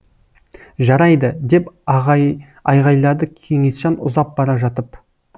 жарайды деп айғайлады кеңесжан ұзап бара жатып